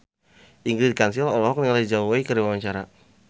Ingrid Kansil olohok ningali Zhao Wei keur diwawancara